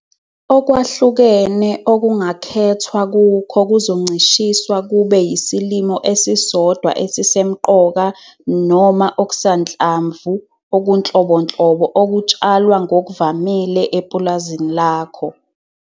Okwahlukene okungakhethwa kukho kuzoncishiswa kube yisilimo esisodwa esimsemqoka noma okusanhlamvu okunhlobonhlobo okutshalwa ngokuvamile epulazini lakho.